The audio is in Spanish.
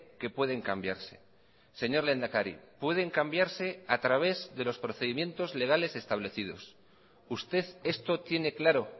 que pueden cambiarse señor lehendakari pueden cambiarse a través de los procedimientos legales establecidos usted esto tiene claro